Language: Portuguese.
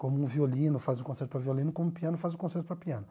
Como um violino faz um concerto para violino, como um piano faz um concerto para piano.